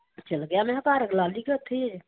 ਚਲ ਗਿਆ ਮੈਂ ਕਿਹਾ ਘਰ ਲਾਲੀ ਕਿ ਉੱਥੇ ਹੀ ਆ?